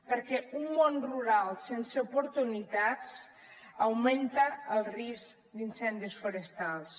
perquè un món rural sense oportunitats augmenta el risc d’incendis forestals